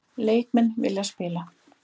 Leikmenn vilja spila